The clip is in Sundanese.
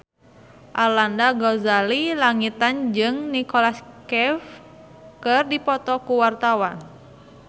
Arlanda Ghazali Langitan jeung Nicholas Cafe keur dipoto ku wartawan